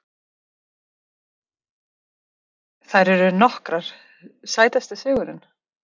Þær eru nokkrar Sætasti sigurinn?